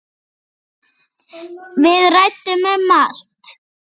Við ræddum um allt.